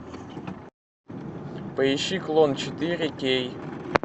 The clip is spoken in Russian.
поищи клон четыре кей